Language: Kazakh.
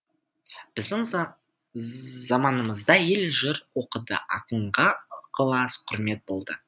біздің заманымызда ел жыр оқыды ақынға ықылас құрмет болды